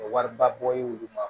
Wariba bɔ i bolo